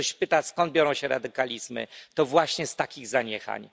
Jak ktoś pyta, skąd biorą się radykalizmy, to właśnie z takich zaniechań.